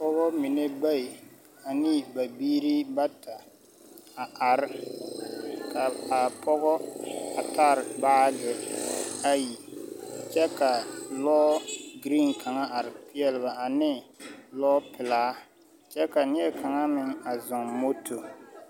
Pɔgeba mine bayi ane ba biiri bata, a are, ka a pɔgɔ a tare baage ayi kyɛ ka lɔɔ-giriiŋ kaŋa are peɛle ane lɔɔpelaa kyɛ ka neɛkaŋa meŋ a zɔŋ moto.